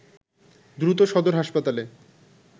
দ্রুত সদর হাসপাতালে